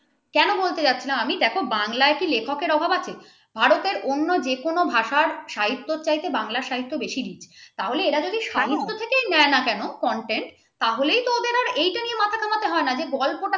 সেটা বলতে চাইছিলাম আমি দেখো বাংলায় কি লেখক এর অভাব আছে? ভারতের অন্য যেকোন ভাষায় সাহিত্যর চাইতে বাংলা সাহিত্য বেশি তাহলে এরা যদি সাহিত্য থেকে নেয় না কেন content তাহলে তো ওদের আর এটা নিয়ে মাথা ঘামাতে হয় না গল্পটা